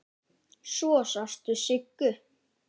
Svo sástu Siggu.